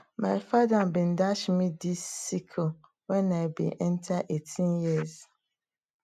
my father bin dash me dis sickle when i bin enter eighteen years